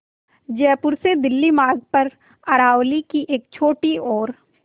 जयपुर से दिल्ली मार्ग पर अरावली की एक छोटी और